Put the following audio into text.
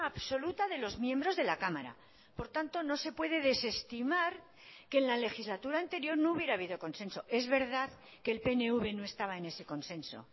absoluta de los miembros de la cámara por tanto no se puede desestimar que en la legislatura anterior no hubiera habido consenso es verdad que el pnv no estaba en ese consenso